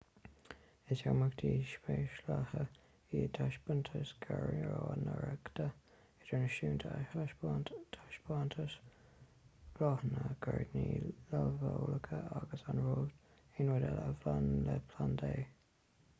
is imeachtaí speisialaithe iad taispeántais gairneoireachta idirnáisiúnta a thaispeánann taispeántais bláthanna gairdíní luibheolaíocha agus aon rud eile a bhaineann le plandaí